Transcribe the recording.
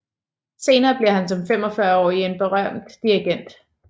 Senere bliver han som 45 årig en berømt dirigent